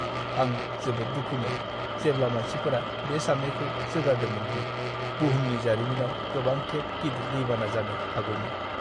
आं जोबोद दुखुमोन जेब्ला मानसिफोरा बे साननायखौ जोगारदोंमोन दि बुहुमनि जारिमिनाव गोबांखेब गिदिर दैबाना जानो हागौमोन।